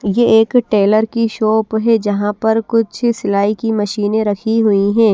ये एक टेलर की शॉप हैं यहां पर कुछ सिलाई की मशीनें रखी हुई हैं।